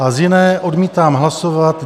A z jiné odmítám hlasovat.